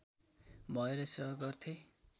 भएर सेवा गर्थे